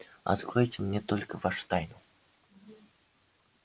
откройте мне только вашу тайну